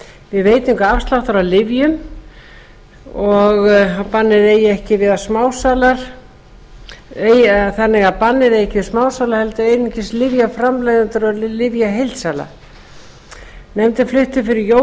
við veitingu afsláttar á lyfjum þannig að bannið eigi ekki við smásala heldur einungis lyfjaframleiðendur og lyfjaheildsala nefndin flutti fyrir jól